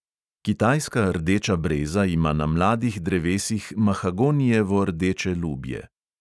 Kitajska rdeča breza ima na mladih drevesih mahagonijevo rdeče lubje.